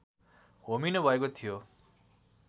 होमिनुभएको थियो